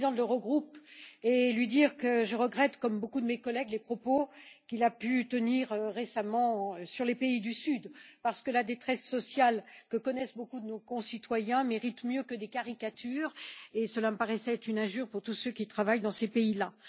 le président de l'Eurogroupe et lui dire que je regrette, comme beaucoup de mes collègues, les propos qu'il a pu tenir récemment sur les pays du Sud, parce que la détresse sociale que connaissent beaucoup de nos concitoyens mérite mieux que des caricatures et cela me paraissait être une injure pour tous ceux qui travaillent dans ces pays là.